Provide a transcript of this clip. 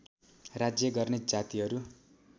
राज्य गर्ने जातिहरू